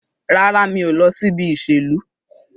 Rárá, mi ò lọ síbi ìṣèlú.